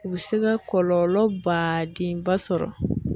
U bɛ se ka kɔlɔlɔ badenba sɔrɔ.